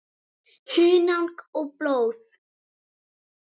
Hunang og blóð